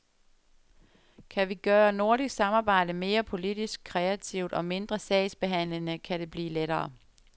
Kan vi gøre nordisk samarbejde mere politisk kreativt og mindre sagsbehandlende, kan det blive lettere.